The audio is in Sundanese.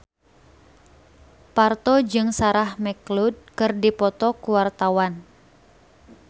Parto jeung Sarah McLeod keur dipoto ku wartawan